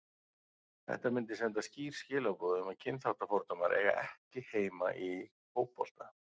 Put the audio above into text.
Þetta myndi senda skýr skilaboð um að kynþáttafordómar eiga ekki heima í fótbolta.